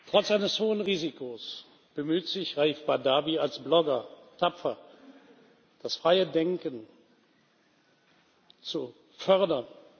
Trotz eines hohen Risikos bemühte sich Raif Badawi als Blogger tapfer, das freie Denken zu fördern.